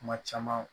Kuma caman